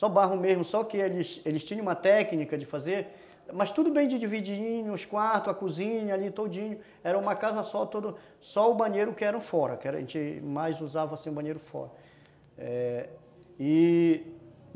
só barro mesmo, só que eles eles tinham uma técnica de fazer, mas tudo bem de divididinho, os quartos, a cozinha ali todinho, era uma casa só o banheiro que era o fora, que a gente mais usava o banheiro fora, e